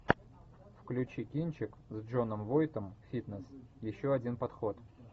включи кинчик с джоном войтом фитнес еще один подход